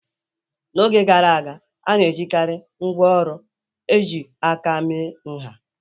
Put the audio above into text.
N'oge gara aga, a na-ejikarị ngwaọrụ ejiri aka mee nha.